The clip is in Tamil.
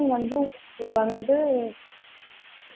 ஆஹ் lunch க்கு இது confirm பண்ணிடுங்க.